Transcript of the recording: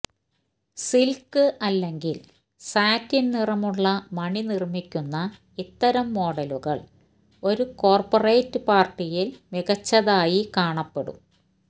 silk അല്ലെങ്കിൽ satin നിറമുള്ള മണി നിർമ്മിക്കുന്ന ഇത്തരം മോഡലുകൾ ഒരു കോർപ്പറേറ്റ് പാർട്ടിയിൽ മികച്ചതായി കാണപ്പെടും